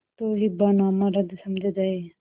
तो हिब्बानामा रद्द समझा जाय